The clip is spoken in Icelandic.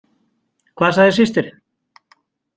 Hvað sagði systirin?